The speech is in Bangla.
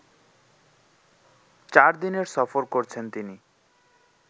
চারদিনের সফর করছেন তিনি